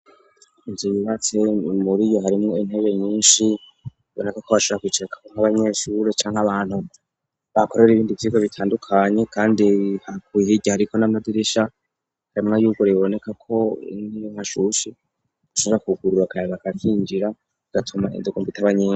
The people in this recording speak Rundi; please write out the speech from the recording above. Inzu yibatse muri yo harimwo intege nyinshi iboneka ko abashakiceka nk'abanyeshure canke abantu bakorera ibindi vyigo bitandukanye, kandi hakuh ira hariko n'amadirisha harimwa yuguriboneka ko nkiyo nkashushe gushaja kugurura akaya bagakinjira gatuma indugo mbiteabanyinge.